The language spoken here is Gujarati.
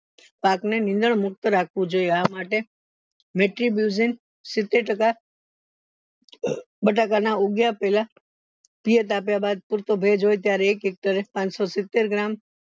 પાકને નીંદર મુક્ત રાખવું જોઈએ આ માટે સિત્તેર ટકા બટાકા ના ઉગ્યા પેલા તાપ્યા બાદ પુરતો ભેજ હોય ત્યારે એક hector એ પાંચસો સિત્તેર gram